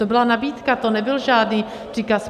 To byla nabídka, to nebyl žádný příkaz.